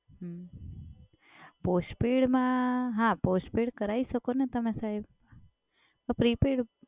હમ્મ પોસ્ટપેડમાં, હા postpaid કરાવી શકોને તમે સાહેબ. પણ પ્રીપેડ